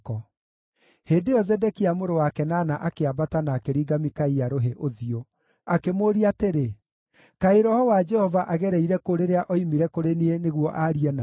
Hĩndĩ ĩyo Zedekia mũrũ wa Kenaana akĩambata na akĩringa Mikaia rũhĩ ũthiũ. Akĩmũũria atĩrĩ, “Kaĩ roho wa Jehova agereire kũ rĩrĩa oimire kũrĩ niĩ nĩguo aarie nawe?”